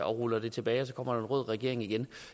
ruller det tilbage og så kommer der en rød regering igen